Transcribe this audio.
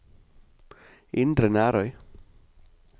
Indre Nærøy